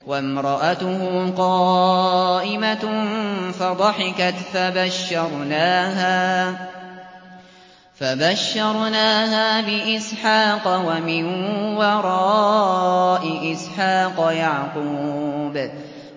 وَامْرَأَتُهُ قَائِمَةٌ فَضَحِكَتْ فَبَشَّرْنَاهَا بِإِسْحَاقَ وَمِن وَرَاءِ إِسْحَاقَ يَعْقُوبَ